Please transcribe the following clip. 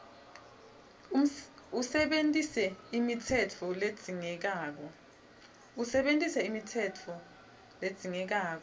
usebentise imitsetfo ledzingekako